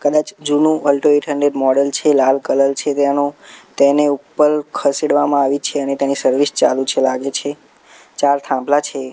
કદાચ જૂનુ Alto eight hundred model છે લાલ કલર છે તેનો તેને ઉપર ખસેડવામાં આવી છે અને તેની સર્વિસ ચાલુ છે લાગે છે ચાર થાંભલા છે.